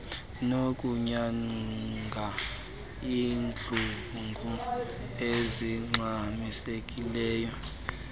nokunyanga iintlungu ezingxamisekileyo